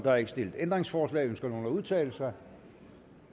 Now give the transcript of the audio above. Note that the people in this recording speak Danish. er ikke stillet ændringsforslag ønsker nogen at udtale sig